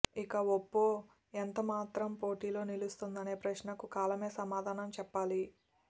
ఇక ఒప్పో ఎంతమాత్రం పోటీలో నిలుస్తుందనే ప్రశ్నకు కాలమే సమాధానం చెప్పాలి